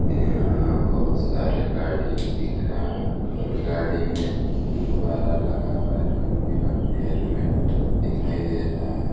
यहाँ बहुत सारे गाड़ी दिख रहे है और गाड़ी में गुब्बारा लगा हुआ है रंग-बिरंग हेलमेट दिखाई दे रहा है।